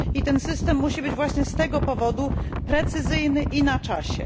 Ten system musi być z tego powodu precyzyjny i na czasie.